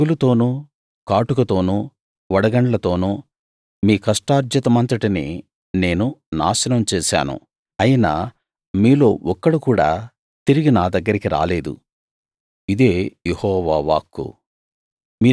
తెగులుతోను కాటుకతోను వడగండ్లతోను మీ కష్టార్జితమంతటిని నేను నాశనం చేశాను అయినా మీలో ఒక్కడు కూడా తిరిగి నా దగ్గరికి రాలేదు ఇదే యెహోవా వాక్కు